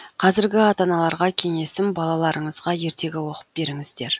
қазіргі ата аналарға кеңесім балаларыңызға ертегі оқып беріңіздер